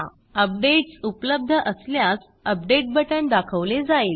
updates उपलब्ध असल्यास update button दाखवले जाईल